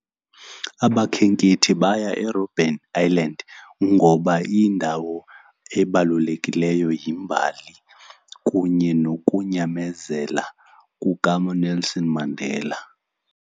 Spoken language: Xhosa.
Abakhenkethi baya eRobben Island ngoba iyindawo ebalulekileyo, yimbali, kunye nokunyamezela kukaNelson Mandela.